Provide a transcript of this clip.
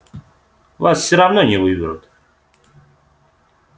вас всё равно не выберут